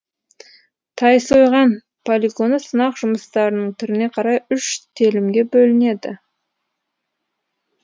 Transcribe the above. тайсойған полигоны сынақ жұмыстарының түріне қарай үш телімге бөлінген